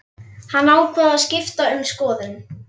Hann ákvað að skipta um skoðun.